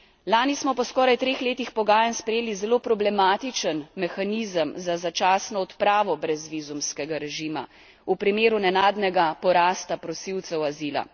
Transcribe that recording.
Lani smo po skoraj treh letih pogajanj sprejeli zelo problematičen mehanizem za začasno odpravo brezvizumskega režima v primeru nenadnega porasta prosilcev azila.